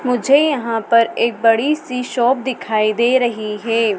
मुझे यहां पर एक बड़ी सी शॉप दिखाई दे रही है।